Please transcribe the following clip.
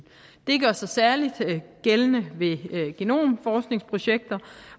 det gør sig særlig gældende ved genomforskningsprojekter